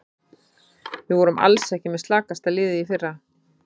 Við vorum alls ekki með slakasta liðið í fyrra.